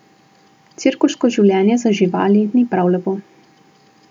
Cirkuško življenje za živali ni prav lepo.